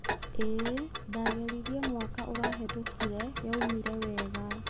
ĩĩ, ndageririe mwaka ũrahetũkire, yaumire wega.